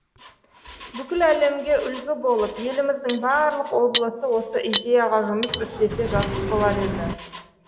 бүкіл әлемге үлгі болып еліміздің барлық облысы осы идеяға жұмыс істесе жақсы болар еді